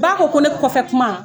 Ba ko ko ne kɔfɛ kuma